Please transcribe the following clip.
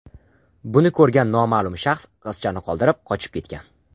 Buni ko‘rgan noma’lum shaxs qizchani qoldirib, qochib ketgan.